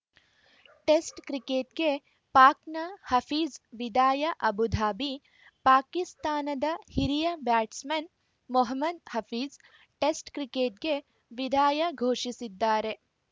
test ಕ್ರಿಕೆಟ್‌ಗೆ ಪಾಕ್‌ನ ಹಫೀಜ್‌ ವಿದಾಯ ಅಬುಧಾಬಿ ಪಾಕಿಸ್ತಾನದ ಹಿರಿಯ ಬ್ಯಾಟ್ಸ್‌ಮನ್‌ ಮೊಹಮದ್‌ ಹಫೀಜ್‌ ಟೆಸ್ಟ್‌ ಕ್ರಿಕೆಟ್‌ಗೆ ವಿದಾಯ ಘೋಷಿಸಿದ್ದಾರೆ